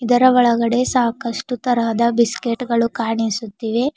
ಅದರ ಒಳಗಡೆ ಸಾಕಷ್ಟು ತರಹದ ಬಿಸ್ಕೆಟ್ ಗಳು ಕಾಣಿಸುತ್ತಿವೆ.